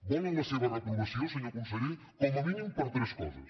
volen la seva reprovació senyor conseller com a mínim per tres coses